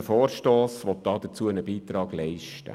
Unser Vorstoss will einen Beitrag dazu leisten.